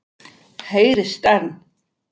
Heyrist enn.